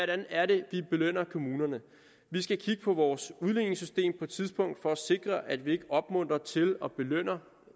det er de belønner kommunerne vi skal kigge på vores udligningssystem på et tidspunkt for at sikre at vi ikke opmuntrer til og belønner